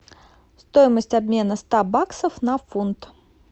стоимость обмена ста баксов на фунт